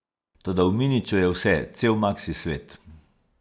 Toda v miniču je vse, cel maksi svet.